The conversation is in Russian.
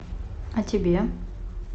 а тебе